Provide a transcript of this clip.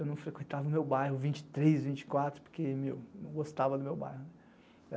Eu não frequentava o meu bairro, vinte e três, vinte e quatro, porque eu não gostava do meu bairro.